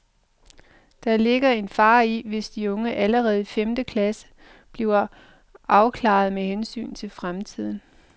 Der ligger en fare i, hvis de unge allerede i femte klasse bliver afklarede med hensyn til fremtiden.